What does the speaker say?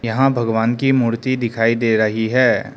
यहां भगवान की मूर्ति दिखाई दे रही है।